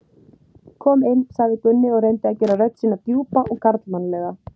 Kom inn, sagði Gunni og reyndi að gera rödd sína djúpa og karlmannlega.